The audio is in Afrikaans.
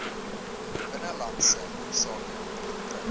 binnelandse sake verkry